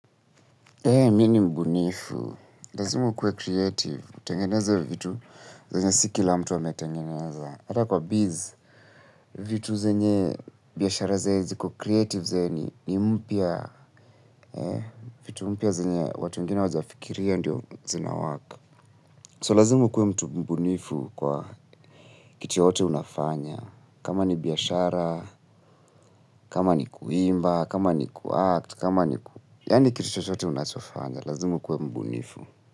Mi ni mbunifu, lazimu ukuwe creative. Tengeneza vitu zenye si kila mtu wame tengeneza. Hata kwa biz, vitu zenye biashara zenye ziko creative yani ni mpya, vitu mpya zenye watu wengine hawajafikiria ndio zina work. So lazimu ukuwe mtu mbunifu kwa kitu yote unafanya, kama ni biashara, kama ni kuimba, kama ni kuact, kama ni ku yani kiti yote unachofanya, lazimu ukuwe mbunifu.